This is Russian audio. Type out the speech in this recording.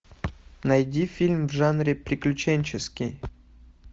найди фильм в жанре приключенческий